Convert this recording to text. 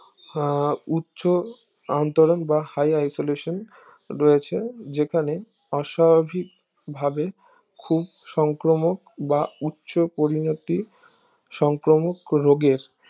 উচ্ছ অন্তরণ বা high isolation রয়েছে যেখানে অস্বাভাবিক ভাবে খুব সংক্রমক বা উচ্ছ পরিণতি সংক্রমক রোগের